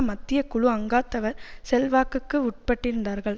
மத்திய குழு அங்கத்தவர் செல்வாக்குக்கு உட்பட்டிருந்தார்கள்